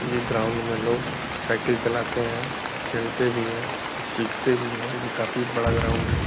ये ग्राउंड में लोग साईकल चलाते हैं खेलते भी हैं और सीखते भी हैं ये काफी बड़ा ग्राउंड है।